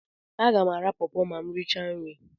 Aga m ara pọọpo ma m richaa nri.